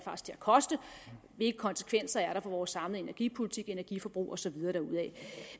koste hvilke konsekvenser der er for vores samlede energipolitik energiforbrug og så videre derudad